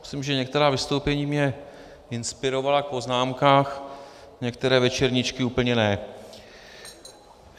Myslím, že některá vystoupení mě inspirovala v poznámkám, některé večerníčky úplně ne.